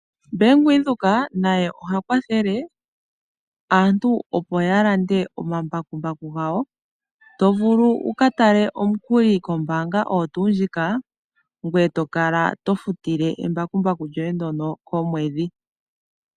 Bank Windhoek naye oha kwathele aantu opo yalande omambakumbaku gawo . Otovulu wukatale omukuli kombaanga oyo tuu ndjika ngoye tokala tofutile embakumbaku lyoye ndyono komwedhi.